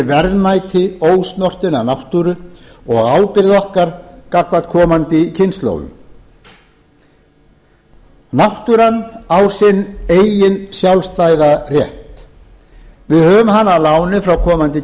verðmæti ósnortinnar náttúru og ábyrgð okkar gagnvart komandi kynslóðum náttúran á sinn eigin sjálfstæða rétt við höfum hana að láni frá komandi